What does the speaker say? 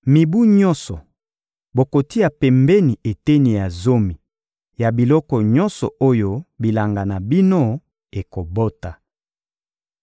Mibu nyonso, bokotia pembeni eteni ya zomi ya biloko nyonso oyo bilanga na bino ekobota.